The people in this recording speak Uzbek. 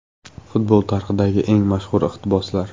Futbol tarixidagi eng mashhur iqtiboslar.